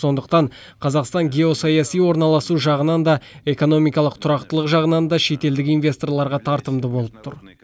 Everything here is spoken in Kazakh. сондықтан қазақстан геосаяси орналасу жағынан да экономикалық тұрақтылық жағынан да шетелдік инвесторларға тартымды болып тұр